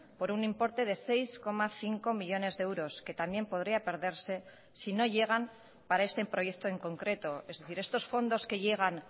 por un importe de seis coma cinco millónes de euros que también podría perderse si no llegan para este proyecto en concreto es decir estos fondos que llegan